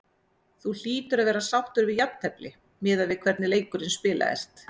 Þú hlýtur að vera sáttur við jafntefli miðað við hvernig leikurinn spilaðist?